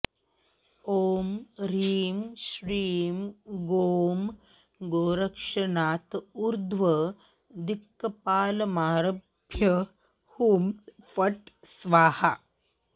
ॐ ह्रीं श्रीं गों गोरक्षनाथ ऊर्ध्वदिक्पालमारभ्य हुँ फट् स्वाहा